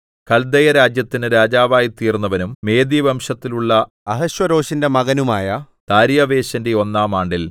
കല്ദയരാജ്യത്തിന് രാജാവായിത്തീർന്നവനും മേദ്യവംശത്തിൽ ഉള്ള അഹശ്വേരോശിന്റെ മകനുമായ ദാര്യാവേശിന്റെ ഒന്നാം ആണ്ടിൽ